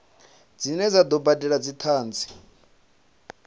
dzine dza do badelwa dzithanzi